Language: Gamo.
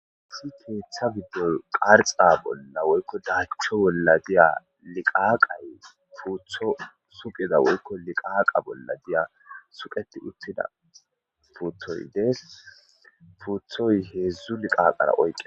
si keeththa giddoy parxa bolla woykko daachcho bolla diya liqaaqay puutho suqida woykko liqaaqa bolla diya suqeti uttida puuthoy dees puuthoy heedzdzu liqaaqara oyqe